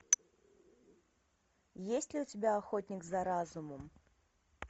есть ли у тебя охотник за разумом